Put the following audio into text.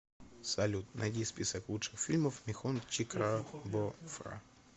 салют найди список лучших фильмов михон чикрабофра